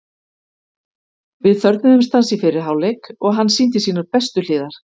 Við þörfnuðumst hans í fyrri hálfleik og hann sýndi sínar bestu hliðar.